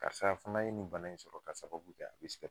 Karisa fana ye nin bana in sɔrɔ k'a sababu kɛ a be sigɛr